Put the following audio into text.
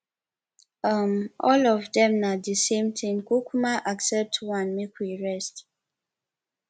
um all of dem na the same thing kukuma accept one make we rest